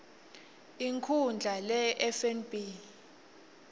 inkhundla lehie ifnb